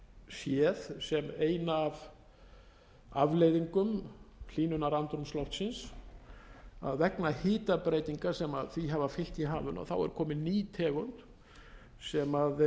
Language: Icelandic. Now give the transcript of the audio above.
séð sem eina af afleiðingum hlýnunarandrúmsloftsins að vegna hitabreytinga sem því hafa fylgt í hafinu er komin ný tegund sem